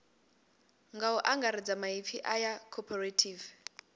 nga angaredza maipfi aya cooperative